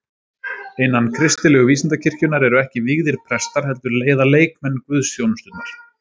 Innan kristilegu vísindakirkjunnar eru ekki vígðir prestar, heldur leiða leikmenn guðsþjónusturnar.